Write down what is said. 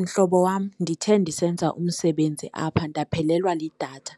Mhlobo wam, ndithe ndisenza umsebenzi apha ndaphelelwe lidatha.